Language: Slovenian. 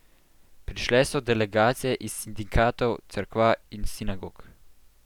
Prišle so delegacije iz sindikatov, cerkva in sinagog.